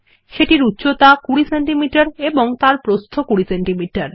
এটির উচ্চতা 20 সেমি এবং এর প্রস্থ 20 সেমি